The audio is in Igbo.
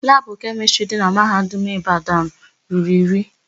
Labụ kemịstrị dị na Mahadum Ịbadanụ ruru iri.